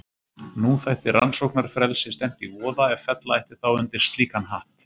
Nú þætti rannsóknarfrelsi stefnt í voða ef fella ætti þá undir slíkan hatt.